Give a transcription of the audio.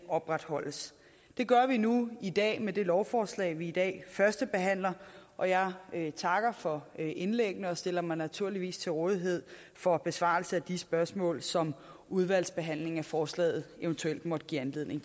opretholdes det gør vi nu i dag med det lovforslag vi i dag førstebehandler og jeg jeg takker for indlæggene og stiller mig naturligvis til rådighed for besvarelse af de spørgsmål som udvalgsbehandlingen af forslaget eventuelt måtte give anledning